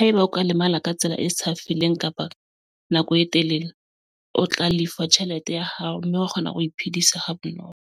Haeba o ka lemala ka tsela e sa feleng kapa nako e telele, o tla lefa tjhelete ya hao mme wa kgona ho iphedisa ha bonolo.